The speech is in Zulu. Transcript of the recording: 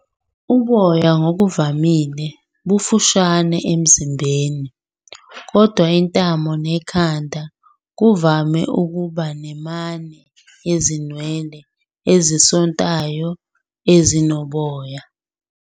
Uboya ngokuvamile bufushane emzimbeni, kodwa intamo nekhanda kuvame ukuba ne-"mane" yezinwele ezisontayo, ezinoboya.